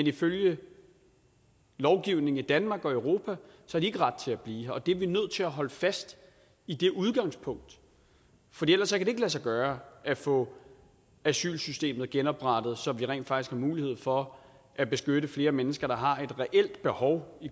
ifølge lovgivningen i danmark og europa ikke har ret til at blive her og vi er nødt til at holde fast i det udgangspunkt for ellers kan det ikke lade sig gøre at få asylsystemet genoprettet så vi rent faktisk har en mulighed for at beskytte flere mennesker der har et reelt behov